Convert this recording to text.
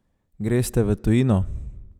Greste v tujino?